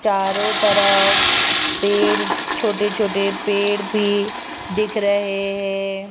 चारों तरफ पेड़ छोटे छोटे पेड़ भी दिख रहे हैं।